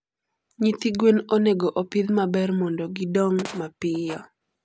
Nyithi gwen onego opidh maber mondo gidong mapiyo.